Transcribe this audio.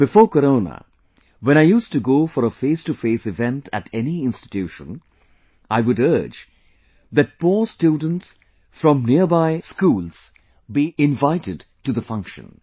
Before Corona when I used to go for a face to face event at any institution, I would urge that poor students from nearby schools to be invited to the function